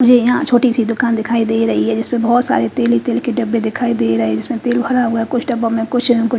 मुझे यहा छोटी सी दूकान दिखाई दे रही है जिसपे बोहोत सारे तेल ही तेल के डब्बे दिखाई देरे है जिसमे तेल भरा हुआ है कुछ डब्बो में कुछ न कुछ--